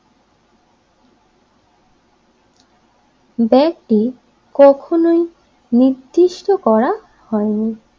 ব্যক্তি কখনোই নির্দিষ্ট করা হয়নি।